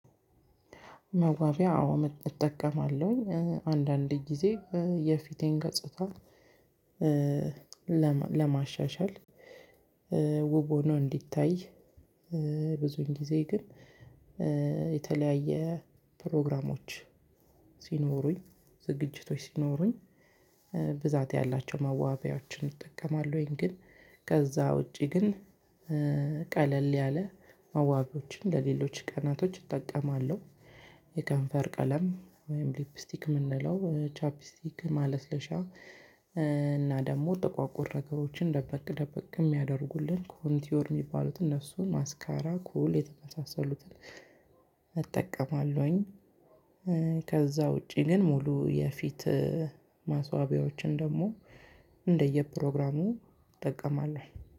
መዋቢያ አዎ እጠቀማለሁኝ አንዳንድ ጊዜ የፊቴን ገጽታ ለማሻሻል ውብ ሆኖ እንዲታይ ብዙጊዜ ግን የተለያየ ፕሮግራሞች ሲኖሩኝ ዝግጅቶች ሲኖሩኝ ብዛት ያላቸው መዋቢያዎችን እጠቀማለሁኝ። ግን ከዛ ውጪ ግን ቀለል ያለ መዋቢያዎችን ለሌሎች ቀናቶች እጠቀማለሁ። የከንፈር ቀለም ወይም ሊፕስቲክ ምንለው ቻፕስቲክ ማለስለሻ እና ደግሞ ጥቋቁር ነገሮችን ደበቅ ደበቅ የሚያደርጉልን ኮንቲዮር የሚባሉትን እነሱን ማስካራ ኩል የመሳሰሉትን እጠቀማለሁኝ። ከዛ ውጪ ግን ሙሉ የፊት ማስዋቢያዎችን ደግሞ እንደየ ፕሮግራሙ እጠቀማለሁ